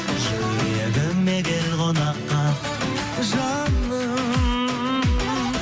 жүрегіме кел қонаққа жаным